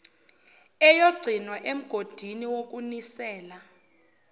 eyogcinwa emgodini wokunisela